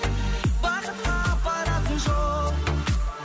бақытқа апаратын жол